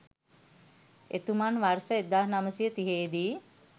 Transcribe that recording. එතුමන් වර්ෂ 1930 දී